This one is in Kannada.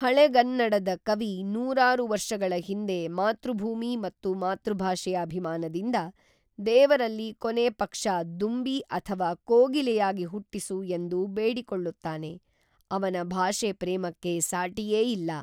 ಹಳೆಗನ್ನಡದ ಕವಿ ನೂರಾರು ವರ್ಷಗಳ ಹಿಂದೆ ಮಾತೃಭೂಮಿ ಮತ್ತು ಮಾತೃಭಾಷೆಯ ಅಭಿಮಾನದಿಂದ, ದೇವರಲ್ಲಿ ಕೊನೆ ಪಕ್ಷ ದುಂಬಿ ಅಥವಾ ಕೋಗಿಲೆಯಾಗಿ ಹುಟ್ಟಿಸು ಎಂದು ಬೇಡಿಕೊಳ್ಳುತ್ತಾನೆ, ಅವನ ಭಾಷೆ ಪ್ರೇಮಕ್ಕೆ ಸಾಟಿಯೇ ಇಲ್ಲ.